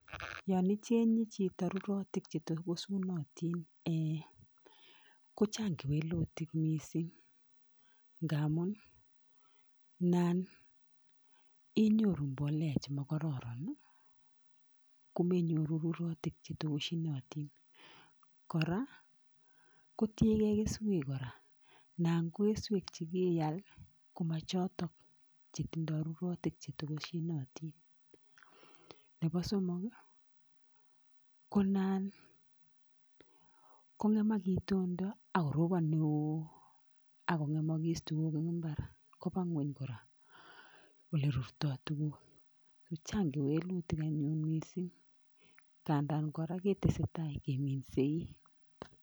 Yon ichenye chito rurutik che tokosunotin, ko chang kewelutik mising. Ngamun mam inyoru mbolea chemakororon, komenyoru rurutik che tokoshinotin. Kora ko tiegei keswek kora ,nan ko keswek chekeal, komachotok chetindoi rurutik che tokoshinotin. Nebo somok ko nan kong'emak itondo akoropon neo akong'emogis tukuk eng mbar koba ng'weny kora ole rurtoi tukuk. Kandan kitesetai kora keminsei.